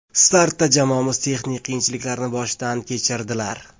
Startda jamoamiz texnik qiyinchiliklarni boshdan kechirdilar.